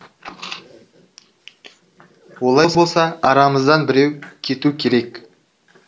олай болса арамыздан біреу кету керек